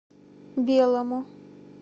белому